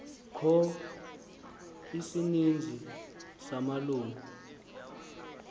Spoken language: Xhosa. kho isininzi samalungu